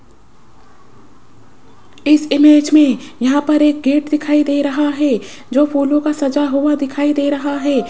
इस इमेज मे यहाँ पर एक गेट दिखाई दे रहा है जो फूलों का सजा हुआ दिखाई दे रहा है।